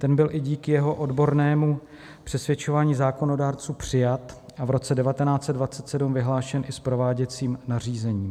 Ten byl i díky jeho odbornému přesvědčování zákonodárců přijat a v roce 1927 vyhlášen i s prováděcím nařízením.